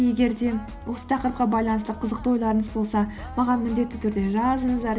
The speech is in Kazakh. егер де осы тақырыпқа байланысты қызықты ойларыңыз болса маған міндетті түрде жазыңыздар